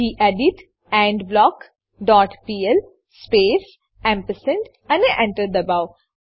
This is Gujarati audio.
gedit end block dot PL space ampersand ampersand અને Enter દબાવો